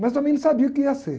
Mas também não sabia o que ia ser.